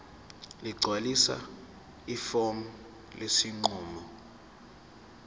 ligcwalise ifomu lesinqumo